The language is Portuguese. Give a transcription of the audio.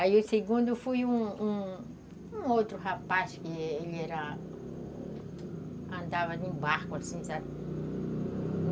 Aí o segundo foi um um um outro rapaz que ele era... andava de barco, assim, sabe?